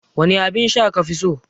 Wane abinsha kafi so?